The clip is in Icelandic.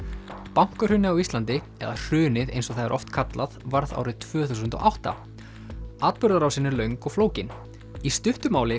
bankahrunið á Íslandi eða hrunið eins og það er oft kallað varð árið tvö þúsund og átta atburðarásin er löng og flókin í stuttu máli